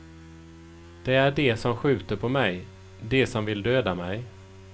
Det är de som skjuter på mig, de som vill döda mig.